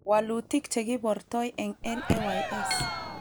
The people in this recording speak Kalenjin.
Walutik chekibortoy eng LAYS